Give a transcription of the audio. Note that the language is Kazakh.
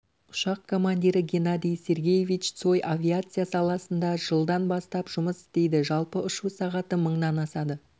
ұшақ командирі геннадий сергеевич цой авиация саласында жылдан бастап жұмыс істейді жалпы ұшу сағаты мыңнан асады